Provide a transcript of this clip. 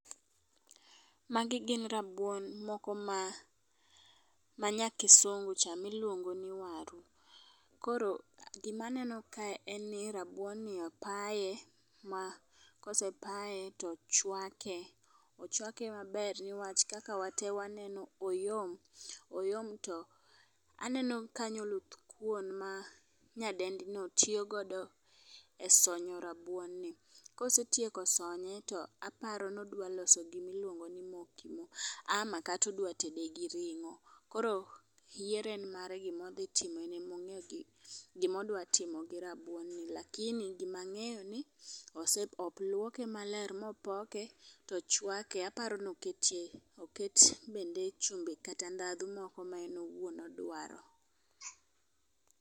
Magin gin rabuon moko ma ma nya kisungu cha miluongo ni waru .Koro gima neno ka en ni rabuon ni opaye ma kosepaye tochwake ochwake maber newach kaka wate waneno, oyom oyom. To aneno kanyo oluth kuon ma nyadendi no tiyo godo e sonyo rabuon no. Kosetieko sonye aparo ni odwa loso gimiluongo ni mokimo , ama kata odwa ted gi ring'o. Koro yiero en mare gidhi timo enemong'e gimodwa timo gi rabuon to lakini gima ng'eyo en ni ose oluoke maler mopoke tochwake aparo ni oketie oket bende chumbi kata ndhadhu moko ma en owuon odwaro.